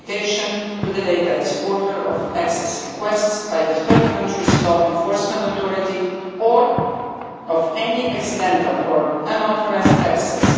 notification to the data exporter of access requests by a third country's law enforcement authority, or of any accidental or unauthorised access